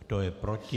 Kdo je proti?